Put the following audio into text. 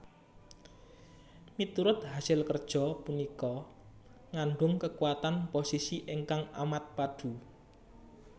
Miturut hasil kerja punika ngandung kekuatan posisi ingkang amat padu